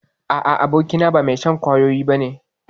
A'a, abokina ba mai shan kwayoyi ba ne.